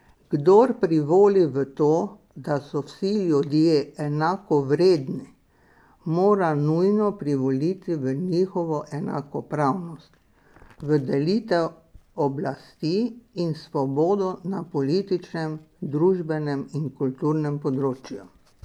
Kdor privoli v to, da so vsi ljudje enakovredni, mora nujno privoliti v njihovo enakopravnost, v delitev oblasti in svobodo na političnem, družbenem in kulturnem področju.